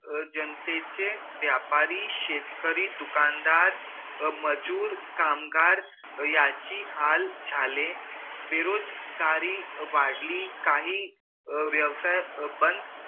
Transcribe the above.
जनतेचे व्यापारी शेतकरी दुकानदार मजूर कामगार याचे हाल झाले बेरोजगारी वडली काही व्यवसाय बंद